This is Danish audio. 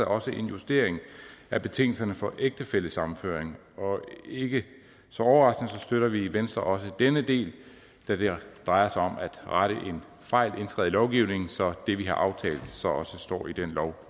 også en justering af betingelserne for ægtefællesammenføring og ikke så overraskende støtter vi i venstre også denne del da det drejer sig om at rette en fejl indskrevet i lovgivningen så det vi har aftalt også står i den lov